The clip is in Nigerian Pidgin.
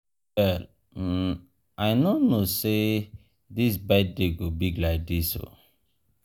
mirabel um i no know say dis um birthday um go big like dis oo.